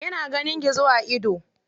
Yana ganin gizo a ido.